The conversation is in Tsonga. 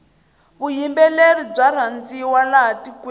vuyimbeleri bya rhandziwa laha tikweni